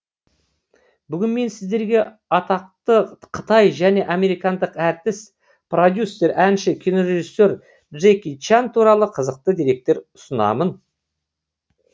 бүгін мен сіздерге атақты қытай және американдық әртіс продюсер әнші кинорежиссе р джеки чан туралы қызықты деректер ұсынамын